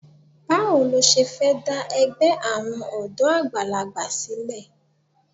Báwo lo ṣe fẹ́ dá ẹgbẹ́ àwọn ọ̀dọ́ àgbàlagbà sílẹ̀?